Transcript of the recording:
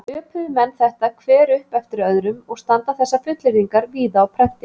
Öpuðu menn þetta hver upp eftir öðrum og standa þessar fullyrðingar víða á prenti.